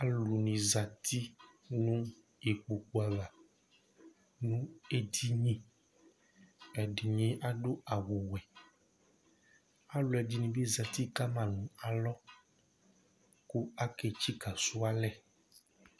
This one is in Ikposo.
alò ni zati no ikpoku ava no edini ɛdini adu awu wɛ alò ɛdini bi zati kama no alɔ kò ake tsika sò alɛ